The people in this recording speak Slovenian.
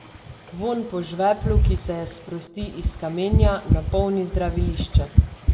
Vonj po žveplu, ki se sprosti iz kamenja, napolni zdravilišče.